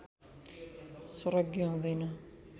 सर्वज्ञ हुँदैन